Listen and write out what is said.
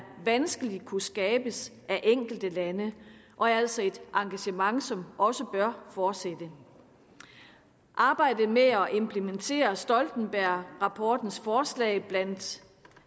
vanskeligt kunne skabes af enkelte lande og er altså et engagement som også bør fortsætte arbejdet med at implementere stoltenbergrapportens forslag blandt